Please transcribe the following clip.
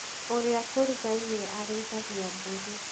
ũrĩa tũrigainie arĩithagia mbũri.